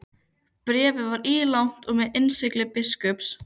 Bréfið var ílangt og með innsigli biskups.